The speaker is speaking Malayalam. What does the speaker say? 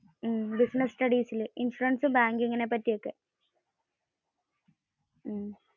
business studiesil. ഇൻഷുറസ്, ബാങ്കിങ് പറ്റിയൊക്കെ.